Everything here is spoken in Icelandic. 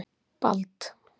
Bald